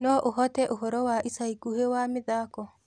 no ũhote ũhoro wa ĩca ĩkũhĩ wa mithako